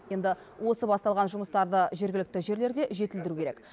енді осы басталған жұмыстарды жергілікті жерлерде жетілдіру керек